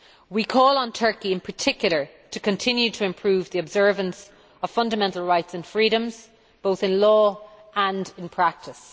We call on Turkey in particular to continue to improve the observance of fundamental rights and freedoms, both in law and in practice.